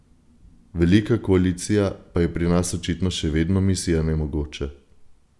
Velika koalicija pa je pri nas očitno še vedno misija nemogoče.